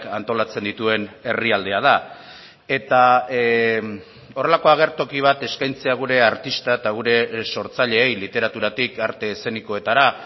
antolatzen dituen herrialdea da eta horrelako agertoki bat eskaintzea gure artista eta gure sortzaileei literaturatik arte eszenikoetara